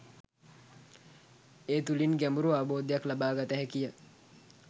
ඒ තුළින් ගැඹුරු අවබෝධයක් ලබා ගත හැකිය